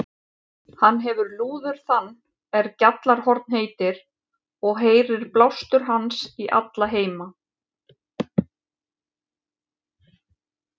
Hann hefir lúður þann er Gjallarhorn heitir, og heyrir blástur hans í alla heima.